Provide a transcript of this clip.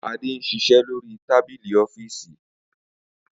Ade n ṣiṣẹ lori tábìlì ọ́fììsì.